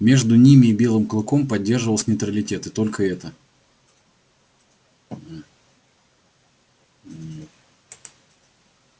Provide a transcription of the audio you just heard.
между ними и белым клыком поддерживался нейтралитет и только это